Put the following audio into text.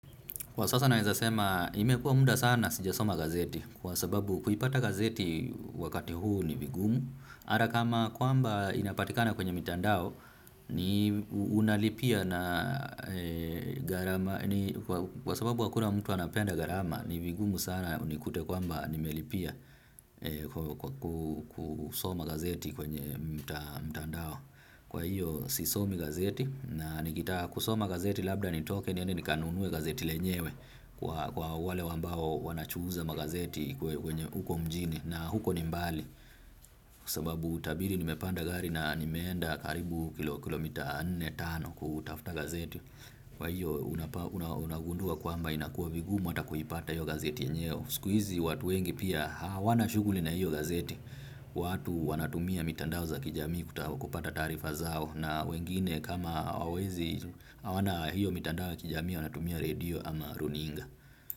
Kwa sasa naweza sema imekua muda sana sijasoma gazeti kwa sababu kuipata gazeti wakati huu ni vigumu. Hata kama kwamba inapatikana kwenye mitandao ni unalipia na gharama ni kwa sababu hakuna mtu anapenda gharama ni vigumu sana unikute kwamba nimelipia kusoma gazeti kwenye mitandao. Kwa hiyo sisomi gazeti na nikitaka kusoma gazeti labda nitoke niende nikanunue gazeti lenyewe kwa wale ambao wanachuuza magazeti kwenye huko mjini na huko ni mbali. Sababu tabiri nimepanda gari na nimeenda karibu kilomita nne, tano kutafuta gazeti. Kwa hiyo unagundua kwamba inakuwa vigumu hata kuipata hiyo gazeti yenyewe. Siku hizi watu wengi pia hawana shughuli na hiyo gazet.i. Watu wanatumia mitandao za kijamii kutapata taarifa zao na wengine kama hawawezi, hawana hiyo mitandao ya kijamii wanatumia radio ama runinga.